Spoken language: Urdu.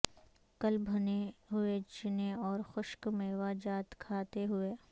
کل بھنے ھوئے چنے اور خشک میوہ جات کھاتے ھوئے